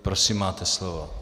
Prosím, máte slovo.